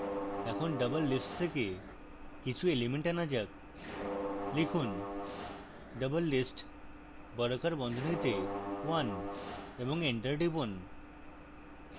এখন doublelist থেকে কিছু element আনা যাক